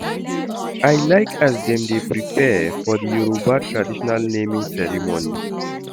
I like as dem dey prepare for di Yoruba traditional naming ceremony.